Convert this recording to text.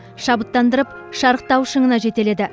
шабыттандырып шарықтау шыңына жетеледі